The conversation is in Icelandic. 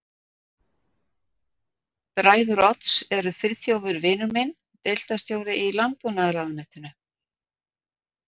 Bræður Odds eru Friðþjófur vinur minn, deildarstjóri í landbúnaðarráðuneytinu